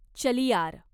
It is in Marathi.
चलियार